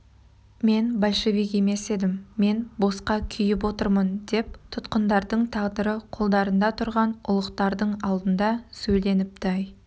мен большевик емес едім мен босқа күйіп отырмын деп тұтқындардың тағдыры қолдарында тұрған ұлықтардың алдында сөйленіпті-ай